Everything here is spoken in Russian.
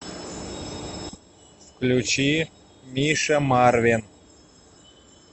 включи миша марвин